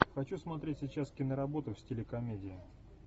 хочу смотреть сейчас киноработу в стиле комедия